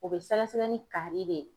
O bɛ sɛgɛsɛgɛ ni kari de.